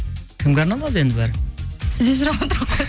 кімге арналады енді бәрі сізден сұрап отырқ қой